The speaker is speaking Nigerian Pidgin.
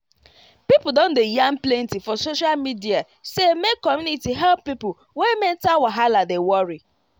people don dey yarn plenty for social media say make community help people wey mental wahala dey worry